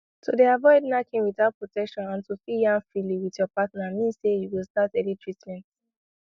to dey avoid knacking without protection and to fit yarn freely with your partner means say you go start early treatment